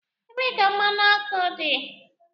Ebee ka mmanụ ọkụ dị?